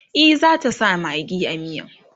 e zata sa maggi a miyan